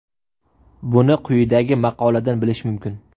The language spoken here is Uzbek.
Buni quyidagi maqoladan bilish mumkin.